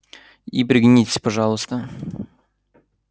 и пригнитесь пожалуйста